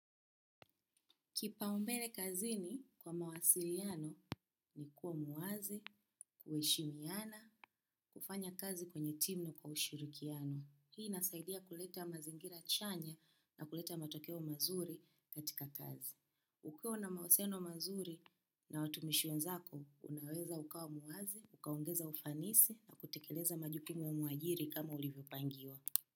Kipaumbele kazini kwa mawasiliano ni kuwa mwazi, kuheshimiana, kufanya kazi kwenye timu na kwa ushirikiano. Hii inasaidia kuleta mazingira chanya na kuleta matokeo mazuri katika kazi. Ukiwa una mahisiano mazuri na watumishi wezako, unaweza ukawa mwazi, ukaongeza ufanisi na kutekeleza majukumu ya mwajiri kama ulivyopangiwa.